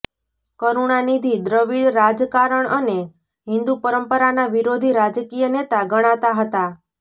કરુણાનિધિ દ્રવિડ રાજકારણ અને હિંદુ પરંપરાના વિરોધી રાજકીય નેતા ગણાતા હતા